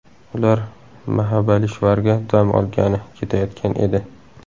Ular Mahabalishvarga dam olgani ketayotgan edi.